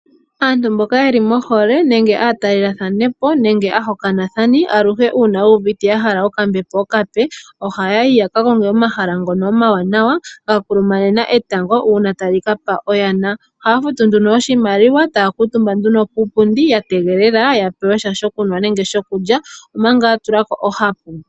Aantu mboka yeli mohole nenge aatalelathanapo nenge aahokanathana aluhe una yu uvite ya hala okambepo okape, ohaya yi ya kakonge omahala ngono omawanawa ya kulumanena etango una tali ka pa oyana. Ohaya futu nduno oshimaliwa taya kuutumba nduno kiipundi ya tegelele ya pewesha sho kulya nenge shokunwa omanga yatula po ohapu.